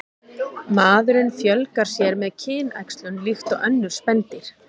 Maðurinn fjölgar sér með kynæxlun líkt og önnur spendýr.